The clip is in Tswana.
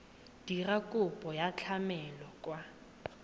dira kopo ya tlamelo kwa